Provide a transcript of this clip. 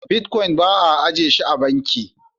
"Bitcoins" bai a ajiye shi a banki.